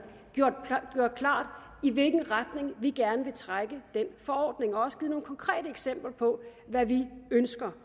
gjort klart i hvilken retning vi gerne vil trække den forordning og også givet nogle konkrete eksempler på hvad vi ønsker